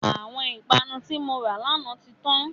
Àwọn ìpanu tí mora lànà tí tán.